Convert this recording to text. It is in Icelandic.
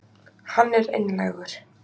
Hann er einlægur.